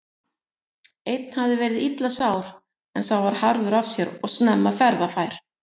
Einn hafði verið illa sár en sá var harður af sér og snemma ferðafær.